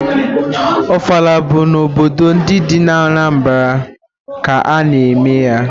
Ọfala bụ n'obodo ndị dị n'Anambara ka a na-eme ya.